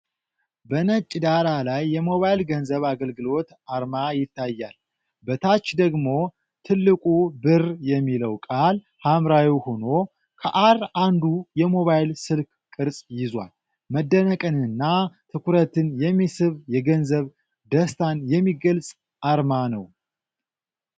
በነጭ ዳራ ላይ የሞባይል ገንዘብ አገልግሎት አርማ ይታያል። በታች ደግሞ ትልቁ "Birr" የሚለው ቃል ሐምራዊ ሆኖ፣ ከ"r" አንዱ የሞባይል ስልክ ቅርጽ ይዟል። መደነቅንና ትኩረትን የሚስብ የገንዘብ ደስታን የሚገልጽ አርማ ነው።